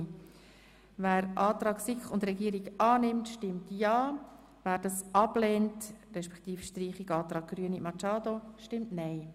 Wer den Antrag SiK und Regierung annimmt, stimmt ja, wer ihn ablehnt, respektive den Antrag Grüne annimmt, stimmt nein.